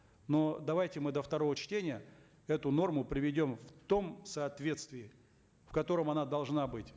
но давайте мы до второго чтения эту норму приведем в том соответствии в котором она должна быть